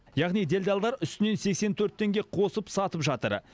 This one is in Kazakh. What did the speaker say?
яғни делдалдар үстінен сексен төрт теңге қосып сатып жатыр